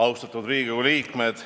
Austatud Riigikogu aseesimees!